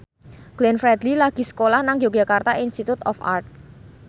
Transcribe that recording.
Glenn Fredly lagi sekolah nang Yogyakarta Institute of Art